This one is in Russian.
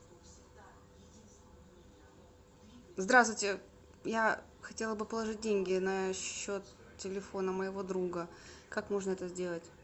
здравствуйте я хотела бы положить деньги на счет телефона моего друга как можно это сделать